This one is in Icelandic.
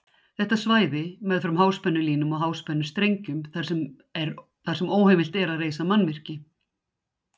Þetta er svæði meðfram háspennulínum og háspennustrengjum þar sem óheimilt er að reisa mannvirki.